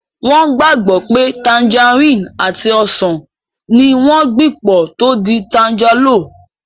Wọ́n gbàgbọ́ pé tanjarínnì àti ọsàn ní wọ́n gbìn pọ̀ tó di tanjálò